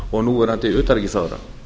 og núverandi utanríkisráðherra